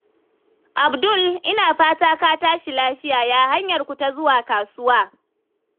Abdul, ina fata ka tashi lafiya? Ya hanyarku ta zuwa kasuwa?